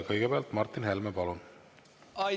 Kõigepealt Martin Helme, palun!